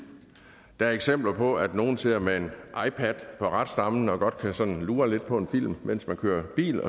der er eksempler på at nogle sidder med en ipad på ratstammen og sådan godt kan lure lidt på en film mens man kører bil